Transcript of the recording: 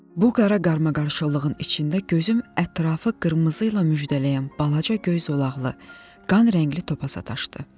Bu qara qarmaqarışıqlığın içində gözüm ətrafı qırmızı ilə müjdələyən balaca göy zolaqlı, qan rəngli topa sataşdı.